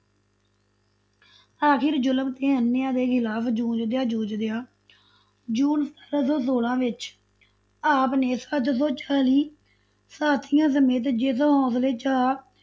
ਆਖ਼ਿਰ ਜ਼ੁਲਮ ਤੇ ਅਨਿਆਂ ਦੇ ਖਿਲਾਫ਼ ਜੂਝਦਿਆਂ ਜੂਝਦਿਆਂ ਜੂਨ ਸਤਾਰਾਂ ਸੌ ਸੌਲਾਂ ਵਿੱਚ ਆਪ ਨੇ ਸੱਤ ਸੌ ਚਾਲੀ ਸਾਥੀਆਂ ਸਮੇਤ ਜਿਸ ਹੋਂਸਲੇ, ਚਾਅ,